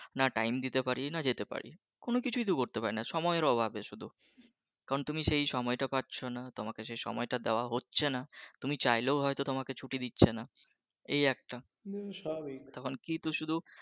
না time দিতে পারি না যেতে পারি, কোনো কিছুই তো করতে পারিনা সময়ের অভাবে শুধু কারন তুমি সেই সময়টা পাচ্ছো না তোমাকে সেই সময়টা দেওয়া হচ্ছে না তুমি চাইলেও হয়তো তোমাকে ছুটি দিচ্ছে না এই একটা তখন শুধু